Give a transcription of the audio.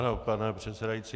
Ano, pane předsedající.